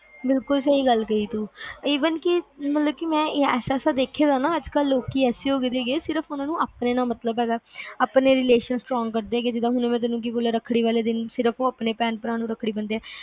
ਬਿਲਕੁਲ ਸਹੀ ਗੱਲ ਕਹੀ ਤੂੰ even ਕਿ ਮਤਲਬ ਕਿ ਐਸੇ ਐਸੇ ਲੋਕ ਦੇਖੇ ਆ ਕਿ ਜਿੰਨਾ ਆਪਣੇ ਨਾਲ ਮਤਲਬ ਹੈਗਾ ਆਪਣੇ relationstrong ਬਣਾਉਂਦੇ ਜਿਵੇ ਮੈਂ ਤੈਨੂੰ ਦੱਸਿਆ ਕੇ ਆਪਣੇ ਭਰਾ ਨੂੰ ਰੱਖੜੀ ਬੰਨਦੇ ਆ